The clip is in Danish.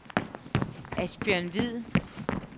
Asbjørn Hvid